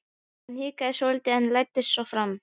Hann hikaði svolítið en læddist svo fram.